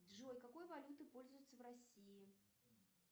джой какой валютой пользуются в россии